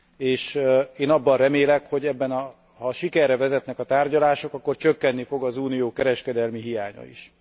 és én azt remélem, hogy ha sikerre vezetnek a tárgyalások, akkor csökkeni fog az Unió kereskedelmi hiánya is.